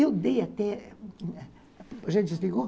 Eu dei até... Já desligou?